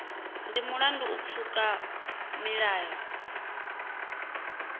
ndi mulandu u pfuka milayo